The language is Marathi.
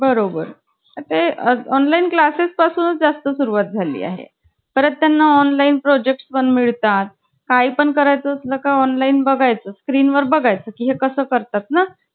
Two one one two oneza two, two oneza हे असं.